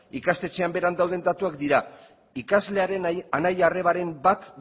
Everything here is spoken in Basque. ikastetxean beran dauden datuak dira ikaslearen anai arrebaren bat